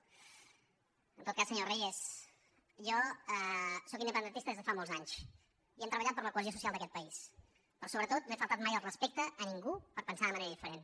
en tot cas senyor reyes jo sóc independentista des de fa molts anys i hem treballat per la cohesió social d’aquest país però sobretot no he faltat mai al respecte a ningú per pensar de manera diferent